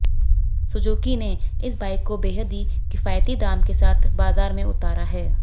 Suzuki ने इस bike को बेहद ही किफायती दाम के साथ बाजार में उतारा है